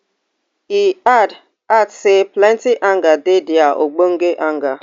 e add add say plenti anger dey dia ogbonge anger